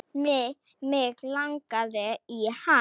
Mig langaði í hana.